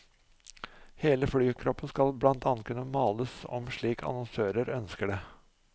Hele flykroppen skal blant annet kunne males om slik annonsører ønsker det.